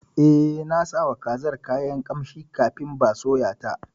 Eh, nasawa kazar kayan ƙamshi kafin ba soya ta.